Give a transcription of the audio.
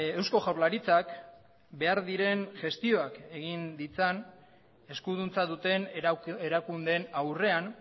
eusko jaurlaritzak behar diren gestioak egin ditzan eskuduntza duten erakundeen aurrean